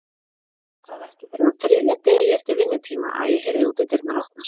Það var ekki fyrr en á þriðja degi eftir vinnutíma að ég heyrði útidyrnar opnast.